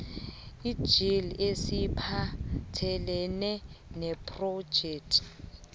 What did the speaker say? njll esiphathelene nephrojekhthi